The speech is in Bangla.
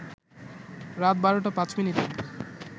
রাত ১২টা ৫ মিনিটে